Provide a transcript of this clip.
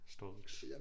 Stonks